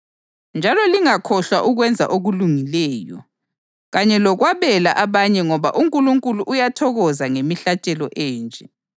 Njalo lingakhohlwa ukwenza okulungileyo kanye lokwabela abanye ngoba uNkulunkulu uyathokoza ngemihlatshelo enje.